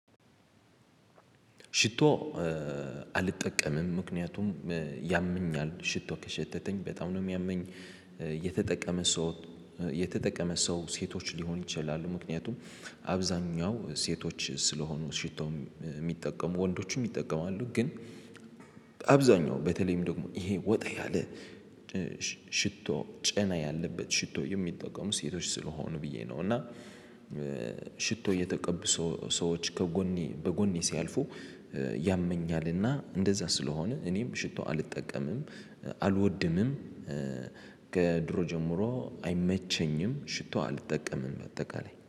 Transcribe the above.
ሽቶ አልጠቀምም ምክንያቱም ያመኛል ሽቶ ከሸተተኝ በጣም ነው የሚያመኝ። የተጠቀመ ሰው የተጠቀመ ሰው ሴቶች ሊሆን ይችላል። ምክንያቱም አብዛኛው ሴቶች ስልሆኑ ሽቶም የሚጠቀሙት ወንዶችም ይጠቀማሉ። ግን አብዛኛው በተለይም ደግሞ ይሄ ወጣ ያለ ሽቶ ጨና ያለበት ሽቶ የሚጠቀሙ ሴቶች ስለሆኑ ብየ ነው። እና ሽቶ የተቀቡ ሰዎች ከጎኔ በጎኔ ሲያልፉ ያመኛል። እና እንደዛ ስለሆነ እኔም ሽቶ አልጠቀምም አልወድም። ከድሮ ጀምሮ አይመቸኝም ሽቶ አልጠቀምም ባጠቃላይ